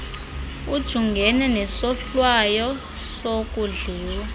ujungene nesohlwayo sokudliwa